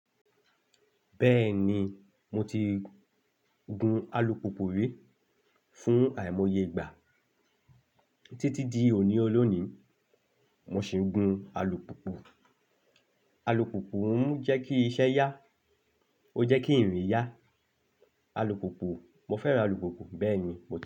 Bẹ́ẹ̀ni, mo ti gun alùpùpù rí fún àìmọye ìgbà títí di òní olónìí, mo sì ń gun alùpùpù. Alùpùpù ń jẹ́ kí iṣẹ́ yá, ó jẹ́ kí ìrìn yá. Alùpùpù, mo fẹ́ràn alùpùpù. Bẹ́ẹ̀ni, mo ti.